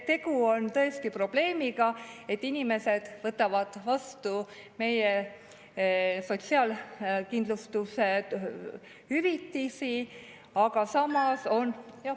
Tegu on tõesti probleemiga, et inimesed võtavad vastu meie sotsiaalkindlustushüvitisi, aga samas on …